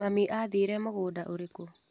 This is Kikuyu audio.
Mami athire mũgũnda ũrĩkũ.